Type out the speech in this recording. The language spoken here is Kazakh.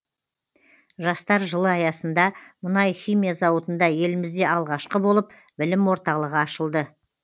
жастар жылы аясында мұнай химия зауытында елімізде алғашқы болып білім орталығы ашылды